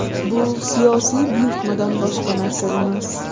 Bu siyosiy buyurtmadan boshqa narsa emas.